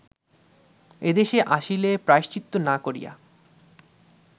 এদেশে আসিলে প্রায়শ্চিত্ত না করিয়া